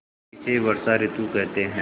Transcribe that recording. इसे वर्षा ॠतु कहते हैं